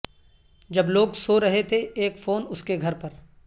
جب لوگ سو رہے تھے اک فون اس کے گھر پر